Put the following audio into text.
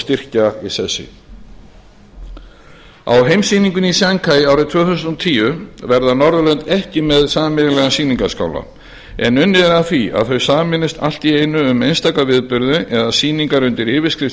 styrkja í sessi á heimssýningunni í sjanghæ tvö þúsund og tíu verða norðurlönd ekki með sameiginlegan sýningarskála en unnið er að því að þau sameinist allt að einu um einstaka viðburði eða sýningar undir yfirskrift